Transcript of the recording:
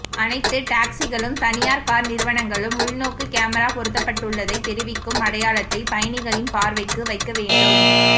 அனைத்து டாக்சிகளும் தனியார் கார் நிறுவனங்களும் உள்நோக்கு கேமரா பொருத்தப் பட்டுள்ளதைத் தெரிவிக்கும் அடையாளத்தைப் பயணிகளின் பார்வைக்கு வைக்க வேண்டும்